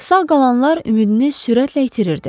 Sağ qalanlar ümidini sürətlə itirirdi.